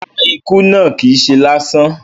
Rárá, ikú náà kìí se lásán